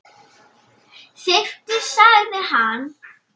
Þyrftir sagði hann.